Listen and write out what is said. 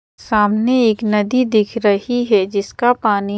सामने एक नदी दिख रही है जिसका पानी--